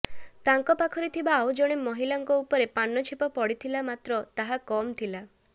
ତାଙ୍କ ପାଖରେ ଥିବା ଆଉ ଜଣେ ମହିଳାଙ୍କ ଉପରେ ପାନ ଛେପ ପଡ଼ିଥିଲା ମାତ୍ର ତାହା କମ୍ ଥିଲା